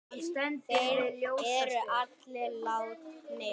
Þeir eru allir látnir.